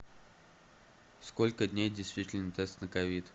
сколько дней действителен тест на ковид